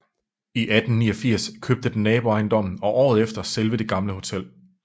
I 1889 købte den naboejendommen og året efter selve det gamle hotel